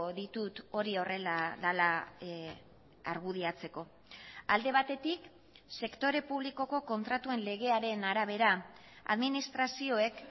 ditut hori horrela dela argudiatzeko alde batetik sektore publikoko kontratuen legearen arabera administrazioek